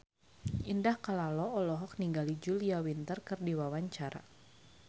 Indah Kalalo olohok ningali Julia Winter keur diwawancara